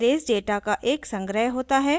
arrays data का एक संग्रह होता है